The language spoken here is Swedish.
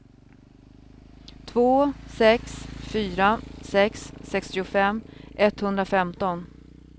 två sex fyra sex sextiofem etthundrafemton